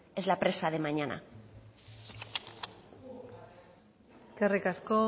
es la presa de mañana eskerrik asko